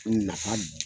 Nafa